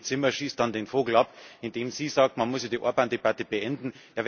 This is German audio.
Und die Kollegin Zimmer schießt dann den Vogel ab, indem sie sagt, man müsse die Orbán Debatte beenden.